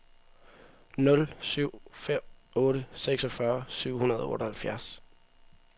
nul syv fem otte seksogfyrre syv hundrede og otteoghalvfjerds